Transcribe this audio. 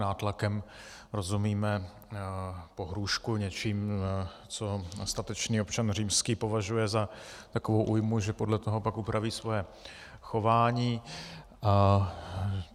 Nátlakem rozumíme pohrůžku něčím, co statečný občan římský považuje za takovou újmu, že podle toho pak upraví svoje chování.